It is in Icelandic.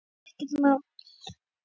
Þetta var bara ekkert mál.